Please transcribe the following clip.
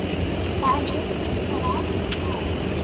Það liggur bara ekkert á.